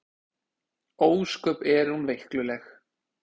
Ósköp er hún veikluleg.